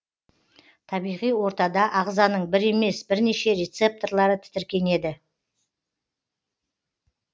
табиғи ортада ағзаның бір емес бірнеше рецепторлары тітіркенеді